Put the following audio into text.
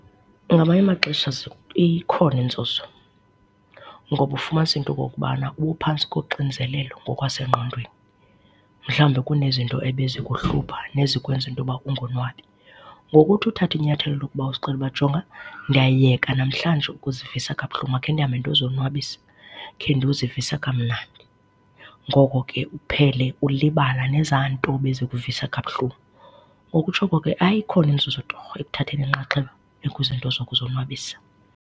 Ngamanye amaxesha ikhona inzuzo. Ngoba ufumanisa into okokubana ubuphantsi koxinzelelo ngokwasengqondweni, mhlawumbi kunezinto ebezikuhlupha nezikwenza into yoba ungonwabi, ngokuthi uthathe inyathelo lokuba uzixelele uba jonga, ndiyayeka namhlanje ukuzivisa kabuhlungu, makhe ndihambe ndiyozonwabisa, khe ndozivisa kamnandi, ngoko ke uphele ulibala nezaa nto bezikuvisa kabuhlungu. Ngokutsho oko ke hayi ikhona inzuzo torho ekuthatheni inxaxheba ekuzinto zokuzonwabisa.